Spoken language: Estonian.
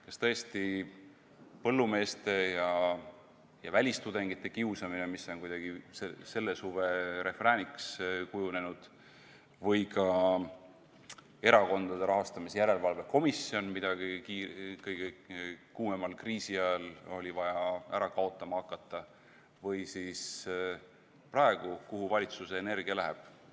Kas tõesti põllumeeste ja välistudengite kiusamine, mis on kuidagi selle suve refrääniks kujunenud, või ka Erakondade Rahastamise Järelevalve Komisjon, mida kõige kuumemal kriisi ajal oli vaja ära kaotama hakata, või siis praegu – kuhu valitsuse energia läheb?